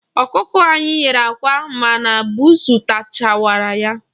Ọkụkọ anyị nyere àkwá ma na buusu tawachara ya.